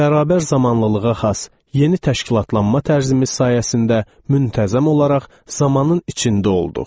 Bərabər zamanlılığa xas yeni təşkilatlanma tərzimiz sayəsində müntəzəm olaraq zamanın içində olduq.